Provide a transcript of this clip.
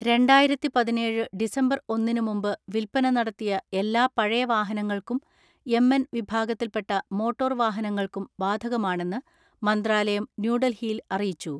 രണ്ടായിരത്തിപതിനേഴ് ഡിസംബർ ഒന്നിന് മുമ്പ് വിൽപന നടത്തിയ എല്ലാ പഴയ വാഹനങ്ങൾക്കും എം എൻ വിഭാഗത്തിൽപ്പെട്ട മോട്ടോർ വാഹനങ്ങൾക്കും ബാധകമാണെന്ന് മന്ത്രാലയം ന്യൂഡൽഹിയിൽ അറിയിച്ചു.